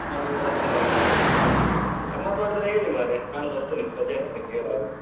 ಮನೆಗೆ ಬರುವಾಗ ಸಾಕ್ ಆಗಿ ಇರ್ತದೆ. ಗಮ್ಮತ್ ಮಾಡುದ್ರೆ ಹೇಳಿ ಮರ್ರೆ ನಾನ್ ಬರ್ತೇನೆ ರಜೆ .